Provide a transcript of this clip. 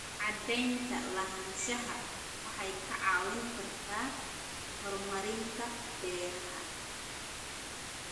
Cadaynta lahaanshaha waxay kaa caawin kartaa horumarinta beeraha.